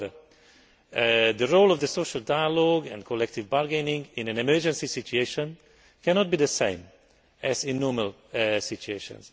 However, the role of the social dialogue and collective bargaining in an emergency situation cannot be the same as in normal situations.